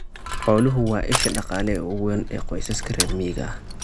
Xooluhu waa isha dhaqaale ee ugu weyn ee qoysaska reer miyiga ah.